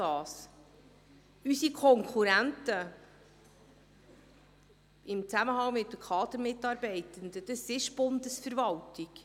Unsere Konkurrenz in Zusammenhang mit Kadermitarbeitenden – das ist die Bundesverwaltung.